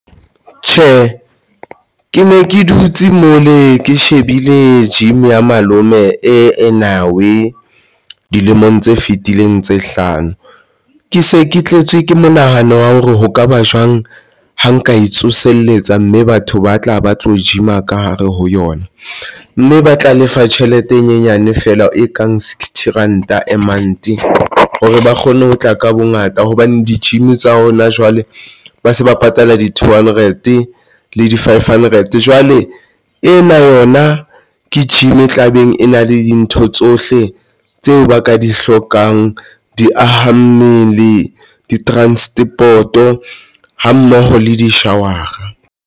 Tjhe, ke ne ke dutse mole ke shebile gym ya malome e enawe dilemong tse fitileng tse hlano ke se ke tletse ke monahano wa hore ho kaba jwang ha nka e tsoselletsa mme batho ba tla ba tlo gym a ka hare yona, mme ba tla lefa tjhelete e nyenyane feela, e kang sixty ranta mind hore ba kgone ho tla ka bongata hobane di-gym tsa hona jwale ba se ba patala di two hundred le di five hundred. Jwale ena yona ke gym e tlabeng, e na le dintho tsohle tseo ba ka di hlokang, di aha mmele di-transport-o hammoho le di-shower-a.